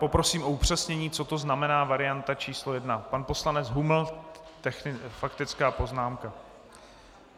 Poprosím o upřesnění, co to znamená varianta číslo 1. - Pan poslanec Huml faktická poznámka.